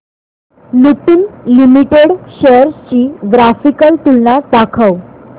Lupin limited shares ची graphical तुलना दाखव